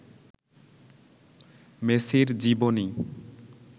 মেসির জীবনী